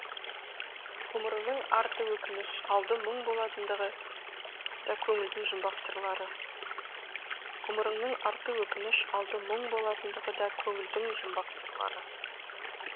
ғұмырыңның арты өкініш алды мұң болатындығы да көңілдің жұмбақ сырлары ғұмырыңның арты өкініш алды мұң болатындығы да көңілдің жұмбақ сырлары